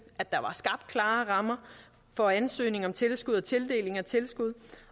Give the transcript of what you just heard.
at der var skabt klare rammer for ansøgning om tilskud og tildeling af tilskud